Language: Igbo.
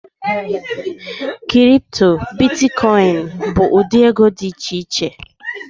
Kịrịpụtọ, bịtịkọyịnị bu ụdị ego di icheiche